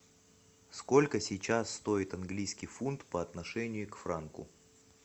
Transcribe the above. сколько сейчас стоит английский фунт по отношению к франку